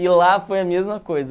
E lá foi a mesma coisa.